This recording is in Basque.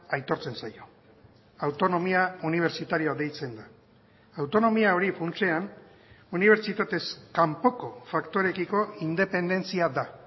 aitortzen zaio autonomia unibertsitarioa deitzen da autonomia hori funtsean unibertsitatez kanpoko faktoreekiko independentzia da